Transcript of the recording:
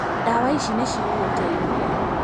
Ndawa ici nĩ cigũgũteithia.